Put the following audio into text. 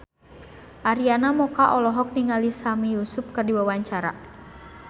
Arina Mocca olohok ningali Sami Yusuf keur diwawancara